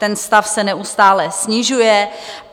Ten stav se neustále snižuje.